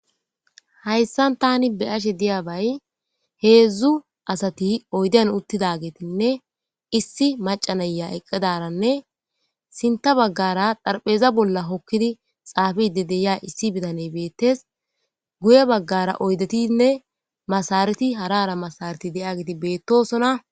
Hayssan tani be7ashe diyabay heedzdzu asati oyden uttidageetinne issi macanaya eqqedaranne sinta baggara dharpheeza bolla hokkidi xaafide deya issi bitaney beettes.guye baggara oydetinne masareti harara masareti de7a geeti beettosona.